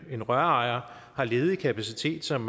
en rørejer har ledig kapacitet som